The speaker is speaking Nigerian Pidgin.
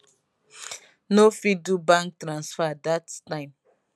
no fit do bank transfer dat dat time